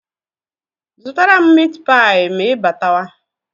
Zụtara m mitipịa ma ịbatawa?